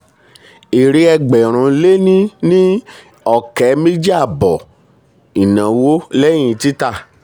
èrè ẹgbẹ́rún lé ní ní um ọ̀kẹ́ mèjì àbọ̀ ìnáwó lẹ́yìn tita.